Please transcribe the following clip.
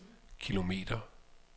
kilometer